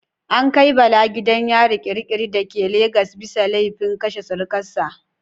An kai Bala gidan yari kirikiri da ke Lagos bisa laifin kashe surukar sa.